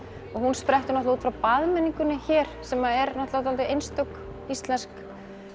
hún sprettur út frá baðmenningunni hér sem er dálítið einstök íslensk